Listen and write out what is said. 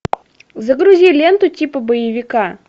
загрузи ленту типа боевика